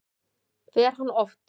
Fer hann oft?